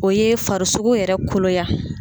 O ye farisoko yɛrɛ koloya